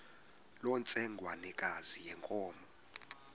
loo ntsengwanekazi yenkomo